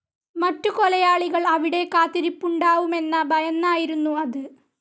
മറ്റു കൊലയാളികൾ അവിടെ കാത്തിരിപ്പുണ്ടാവുമെന്ന ഭയന്നായിരുന്നു അത്.